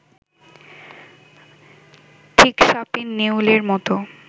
ঠিক সাপে-নেউলের মতো